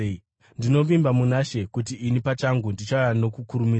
Ndinovimba muna She kuti ini pachangu ndichauya nokukurumidza.